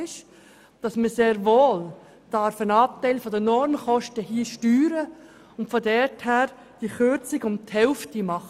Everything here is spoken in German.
Man darf sehr wohl einen Anteil der Normkosten steuern und angesichts dessen eine Kürzung um die Hälfte vornehmen.